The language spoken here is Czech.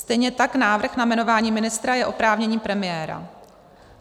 Stejně tak návrh na jmenování ministra je oprávnění premiéra.